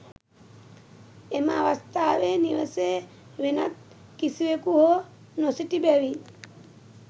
එම අවස්ථාවේ නිවසේ වෙනත් කිසිවෙකු හෝ නොසිටි බැවින්